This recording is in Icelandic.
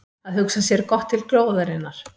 Að hugsa sér gott til glóðarinnar